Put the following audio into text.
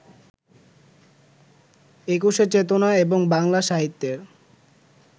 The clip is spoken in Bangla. একুশের চেতনা এবং বাংলা সাহিত্যের